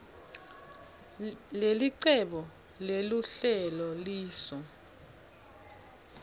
lelicebo leluhlelo lisu